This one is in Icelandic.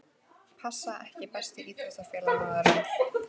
pass EKKI besti íþróttafréttamaðurinn?